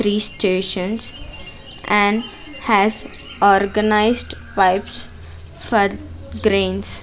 Three stations and has organised pipes for grains.